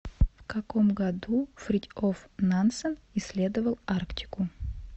в каком году фритьоф нансен исследовал арктику